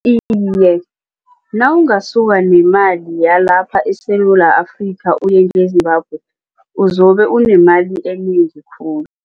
Iye, nawungasuka nemali yalapha eSewula Afrika uyenge-Zimbabwe uzobe unemali enengi khulu.